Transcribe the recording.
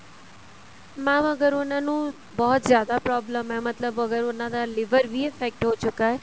mam ਅਗਰ ਉਹਨਾ ਨੂੰ ਬਹੁਤ ਜਿਆਦਾ problem ਹੈ ਮਤਲਬ ਅਗਰ ਉਹਨਾ ਦਾ liver ਵੀ effect ਹੋ ਚੁੱਕਾ ਹੈ